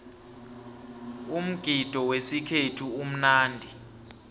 umgidi wesikhethu umnandi